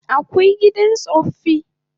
Akwai gidan tsaffi